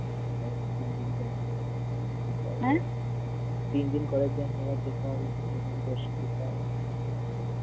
তিন দিন কলেজ যাইনি এবার যেতে হবে দর্শন করতে হবে